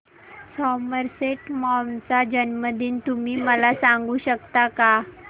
Somerset Maugham चा जन्मदिन तुम्ही मला सांगू शकता काय